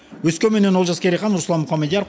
өскеменнен олжас керейхан руслан мұхамедияр